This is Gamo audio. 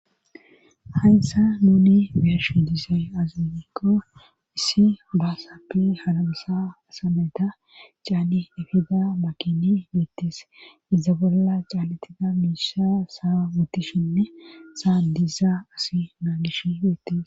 hayssa nuni beeyoshin dizay aze gikko issi baasappe halamsa asameta caani efida makiney beetes iza bolla caalatida miisha saa wuttishinne saa dizaa asi naa gish beettis